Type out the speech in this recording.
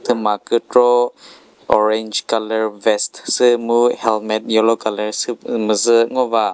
thüma kükro orange colour vest süh mu helmet yellow colour süh müzü ngova.